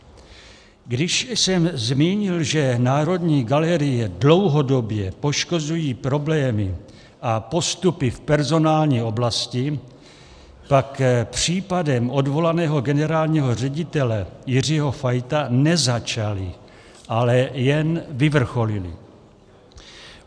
Když jsem zmínil, že Národní galerii dlouhodobě poškozují problémy a postupy v personální oblasti, pak případem odvolaného generálního ředitele Jiřího Fajta nezačaly, ale jen vyvrcholily.